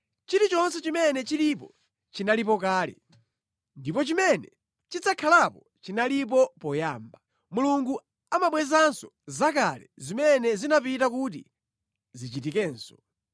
Chilichonse chimene chilipo chinalipo kale, ndipo chimene chidzakhalapo chinalipo poyamba; Mulungu amabwezanso zakale zimene zinapita kuti zichitikenso.